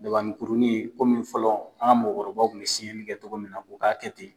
Dabanin kurunin komi fɔlɔ an ka mɔgɔkɔrɔbaw kun bɛ siyɛli kɛ cogo min na o k'a kɛ ten.